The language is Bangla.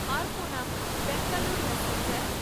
আরকোনাম বেঙ্গালোর প্যাসেঞ্জার